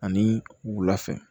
Ani wula fɛ